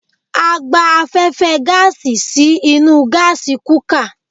A gba afẹ́fẹ́ gáàsì sí inú gásí kukà